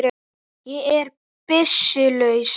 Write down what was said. Ég er byssu laus.